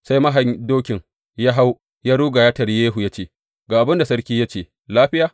Sai mahayin dokin ya hau, ya ruga, ya taryi Yehu, ya ce, Ga abin da sarki ya ce, Lafiya?’